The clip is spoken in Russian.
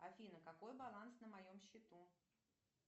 афина какой баланс на моем счету